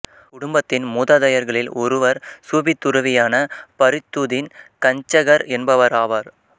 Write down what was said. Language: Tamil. குடும்பத்தின் மூதாதையர்களில் ஒருவர் சூபி துறவியான பரித்துதின் கஞ்ச்சகர் என்பவராவார்